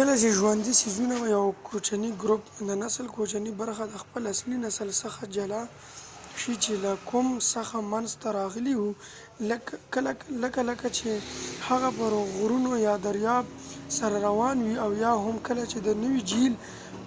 کله چې د ژوندي څیزونو یو کوچنۍ ګروپ د نسل کوچنۍ برخه د خپل اصلي نسل څخه جلا شي چې له کوم څخه منځ ته راغلي وي لکه کله چې هغه پر غرونو یا د دریاب سره روان وي، او یا هم کله چې د نوي جهیل